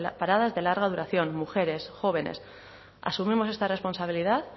paradas de larga duración mujeres jóvenes asumimos esta responsabilidad